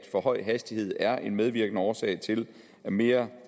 for høj hastighed er en medvirkende årsag til mere